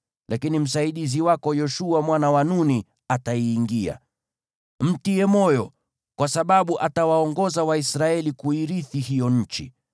Lakini msaidizi wako, Yoshua mwana wa Nuni, ataingia. Mtie moyo, kwa sababu atawaongoza Waisraeli kuirithi hiyo nchi.